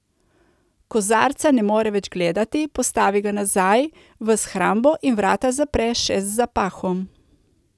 Kozarca ne more več gledati, postavi ga nazaj v shrambo in vrata zapre še z zapahom.